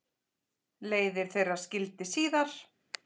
Leiðir þeirra skildi síðar.